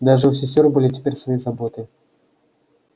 даже у сестёр были теперь свои заботы